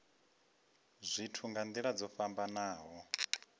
zwithu nga nila dzo fhambanaho